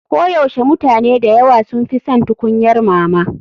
Koyaushe mutane da yawa sun fi son tukunyar mama.